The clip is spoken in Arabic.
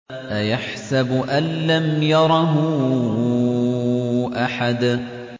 أَيَحْسَبُ أَن لَّمْ يَرَهُ أَحَدٌ